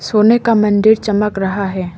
सोने का मंदिर चमक रहा है।